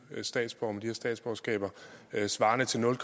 statsborgerskaber svarende til nul